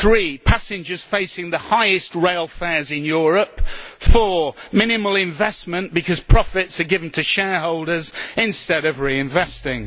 three, passengers facing the highest rail fares in Europe four, minimal investment because profits are given to shareholders instead of reinvesting.